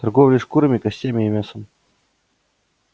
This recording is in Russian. торговля шкурами костями и мясом